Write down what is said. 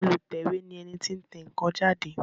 Olùtẹ̀wé ni ẹni tí ń tẹ ǹkan jáde